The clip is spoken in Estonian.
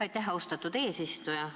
Aitäh, austatud eesistuja!